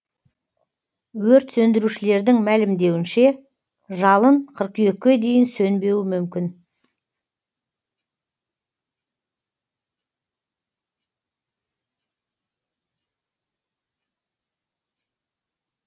өрт сөндірушілердің мәлімдеуінше жалын қыркүйекке дейін сөнбеуі мүмкін